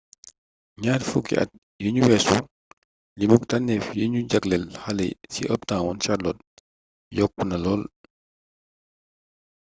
ñaar fukki at yinu weesu limuk tannéf yi ñu jaglel xale ci uptown charlotte yokkna lool